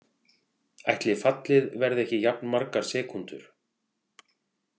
Ætli fallið verði ekki jafn margar sekúndur.